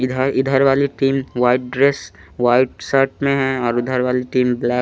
इधर इधर वाली team white dress white shirt में है और इधर वाली टीम ब्लैक --